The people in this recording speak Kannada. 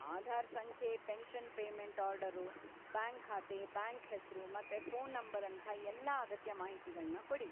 ಆಧಾರ್‌ ಸಂಖ್ಯೆ, ಪೆನ್ಷನ್‌ ಪೇಮೆಂಟ್‌ ಆರ್ಡರು, ಬ್ಯಾಂಕ್‌ ಖಾತೆ, ಬ್ಯಾಂಕ್‌ ಹೆಸ್ರು ಮತ್ತೆ ಫೋನ್‌ ನಂಬರ್‌ನಂಥ ಎಲ್ಲ ಅಗತ್ಯ ಮಾಹಿತಿಗಳ್ನ ಕೊಡಿ.